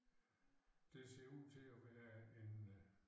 Det ser ud til at være en øh